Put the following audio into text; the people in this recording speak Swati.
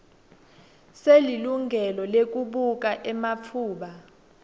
selilungelo lekubuka ematfuba